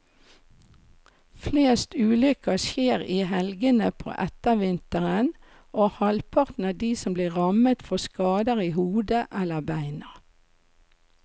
Flest ulykker skjer i helgene på ettervinteren, og halvparten av de som blir rammet får skader i hodet eller beina.